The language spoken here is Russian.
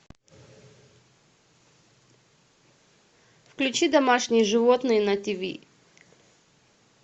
включи домашние животные на тиви